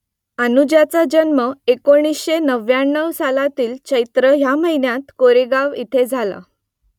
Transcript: अनुजाचा जन्म एकोणीसशे नव्व्याण्णव सालातील चैत्र ह्या महिन्यात कोरेगांव इथे झाला